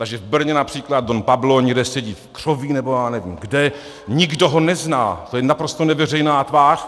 Takže v Brně například Don Pablo někde sedí v křoví nebo já nevím kde, nikdo ho nezná, je to naprosto neveřejná tvář.